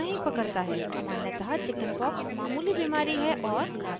सामान्यतः chickenpox मामूली बीमारी है और घातक नहीं है